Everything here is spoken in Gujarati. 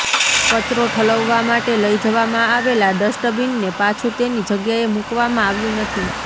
કચરો ઠલવવા માટે લઈ જવામાં આવેલા ડસ્ટબીનને પાછુ તેની જગ્યાએ મૂકવામાં આવ્યું નથી